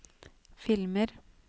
filmer